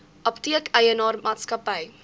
apteek eienaar maatskappy